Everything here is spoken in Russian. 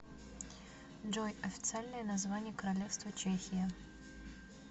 джой официальное название королевство чехия